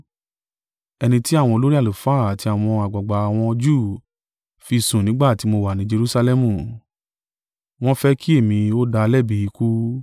Ẹni tí àwọn olórí àlùfáà àti àwọn àgbàgbà àwọn Júù fi sùn nígbà tí mo wà ni Jerusalẹmu, wọ́n ń fẹ́ kí èmi ó dá a lẹ́bi ikú.